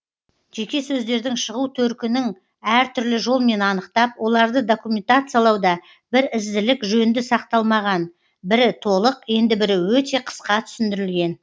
жеке сөздердің шығу төркінің әртүрлі жолмен анықтап оларды документациялауда бір ізділік жөнді сақталмаған бірі толық енді бірі өте қысқа түсіндірілген